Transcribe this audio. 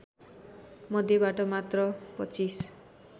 मध्येबाट मात्र २५